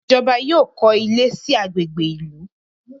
Ijọba yóò kọ ilé sí agbègbè ìlú